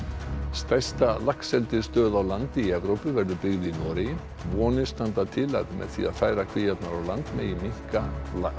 stærsta laxeldisstöð á landi í Evrópu verður byggð í Noregi vonir standa til að með því að færa kvíarnar á land megi minnka